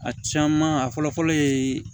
A caman a fɔlɔ fɔlɔ ye